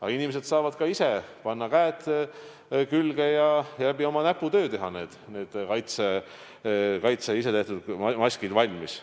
Aga inimesed saavad ka ise panna käed külge ja oma näputööga teha need kaitsemaskid valmis.